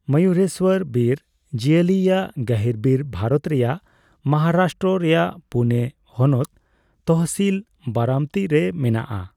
ᱢᱚᱭᱩᱨᱮᱥᱵᱚᱨ ᱵᱤᱨ ᱡᱤᱣᱟᱹᱞᱤᱭᱟᱜ ᱜᱟᱹᱦᱤᱨᱵᱤᱨ ᱵᱷᱟᱨᱚᱛ ᱨᱮᱭᱟᱜ ᱢᱚᱦᱟᱨᱟᱥᱴᱨᱚ ᱨᱮᱭᱟᱜ ᱯᱩᱱᱮ ᱦᱚᱱᱚᱛ ᱛᱚᱦᱚᱥᱤᱞ ᱵᱟᱨᱟᱢᱛᱤ ᱨᱮ ᱢᱮᱱᱟᱜ ᱟ ᱾